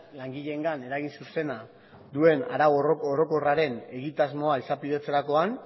langileengan eragin zuzena duen arau orokorraren egitasmoa izapidetzerakoan